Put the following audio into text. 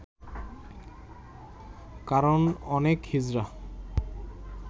কারণ অনেক হিজড়া